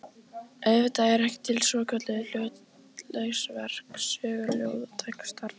Auðvitað eru til svokölluð hlutlaus verk, sögur ljóð og textar.